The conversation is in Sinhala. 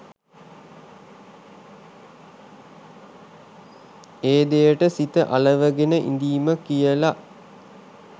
ඒ දෙයට සිත අලවගෙන ඉඳීම කියල.